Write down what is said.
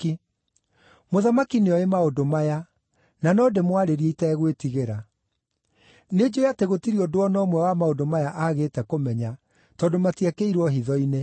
Mũthamaki nĩoĩ maũndũ maya, na no ndĩmwarĩrie itegwĩtigĩra. Nĩ njũũĩ atĩ gũtirĩ ũndũ o na ũmwe wa maũndũ maya aagĩte kũmenya, tondũ matiekĩirwo hitho-inĩ.